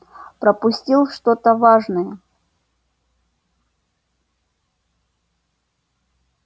пропустил что-то важное